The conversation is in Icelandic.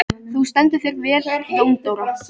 Þú stendur þig vel, Jóndóra!